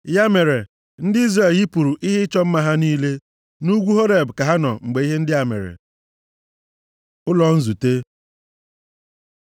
Ya mere, ndị Izrel yipụrụ ihe ịchọ mma ha niile. Nʼugwu Horeb ka ha nọ mgbe ihe ndị a mere. Ụlọ nzute